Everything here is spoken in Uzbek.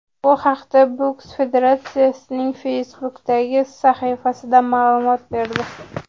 Bu haqda boks federatsiyasining Facebook’dagi sahifasi ma’lumot berdi.